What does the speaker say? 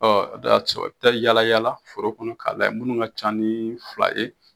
Ɔ, o de y'a to, i bɛ taa yaala yaala foro kɔnɔ k'a lajɛ minnu ka ca ni fila ye